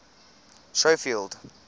schofield